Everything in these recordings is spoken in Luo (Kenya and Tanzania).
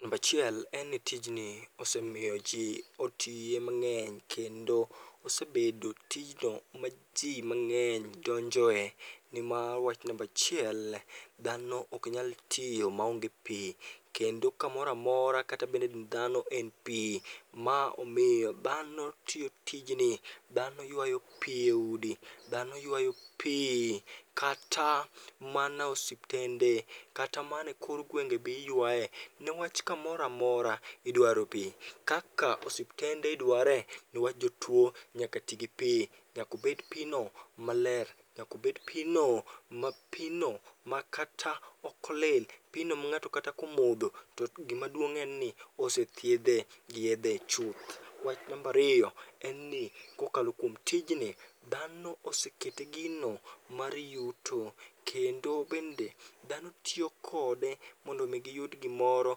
Nambachiel en ni tijni osemiyo ji otiye mang'eny kendo osebedo tijno ma ji mang'eny donjoe. Niwach nambachiel dhano ok nyal tiyo maonge pi, kendo kamoramora kata bedni dhano en pi. Ma omiyo dhano tiyo tijni, dhano ywayo pi e udi, dhano ywayo pi. Kata mana osiptende, kata mane kor gwenge be iywae niwach kamoramora idwaro pi. Kaka osiptende idware niwach jotuo nyaka ti gi pi, nyakobed pino maler. Nyakobed pino, ma pino ma kata okolil, pino ma ng'ato kata komodho to gimaduong' en ni osethiedhe gi yedhe chuth. Wach nambariyo en ni kokalokuom tijni, dhano osekete gino mar yuto. Kendo bende dhano tiyo kode mondo mi giyud gimoro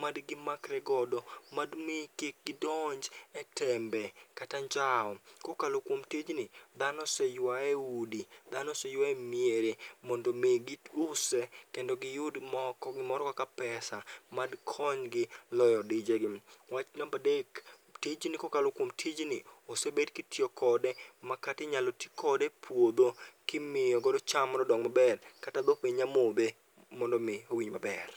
madigi makre godo, madimi kik gidonje tembe kata anjawo. Kokalo kuom tijni, dhano oseywae e udi, dhano oseywae e miere mondo mi giuse kendo giyud moko gimoro kaka pesa madkonygi loyo dijegi. Wach nambadek, tijni kokalo kuom tijni, osebed kitiyo kode makatinyalo ti kode e puodho kimiyo godo cham mondo odong maber. Kata dhok be nya modhe mondo mi owinj maber.